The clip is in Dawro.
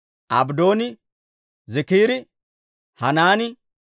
Abddooni, Ziikiri, Hanaani,